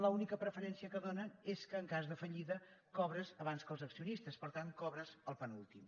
l’única preferència que dóna és que en cas de fallida cobres abans que els accionistes per tant cobres el penúltim